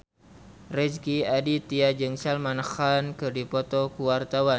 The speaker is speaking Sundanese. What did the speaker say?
Rezky Aditya jeung Salman Khan keur dipoto ku wartawan